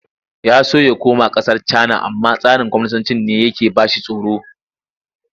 Ya so ya koma ƙasar Cana amma tsarin kwaminisancin ne yake ba shi tsoro.